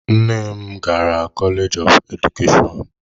Nne m gara koleeji of Edukeshọn.